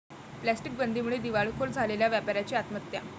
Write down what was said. plastic बंदीमुळे दिवाळखोर झालेल्या व्यापाऱ्याची आत्महत्या